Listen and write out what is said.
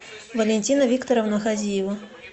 валентина викторовна хазиева